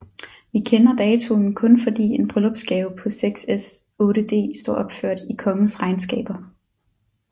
Vi kender datoen kun fordi en bryllupsgave på 6s 8d står opført i kongens regnskaber